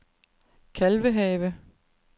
Kalvehave